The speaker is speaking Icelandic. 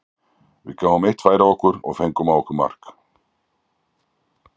Við gáfum eitt færi á okkur og fengum á okkar mark.